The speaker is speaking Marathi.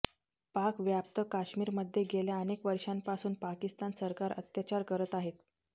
पाक व्याप्त काश्मीरमध्ये गेल्या अनेक वर्षांपासून पाकिस्तान सरकार अत्याचार करत आहेत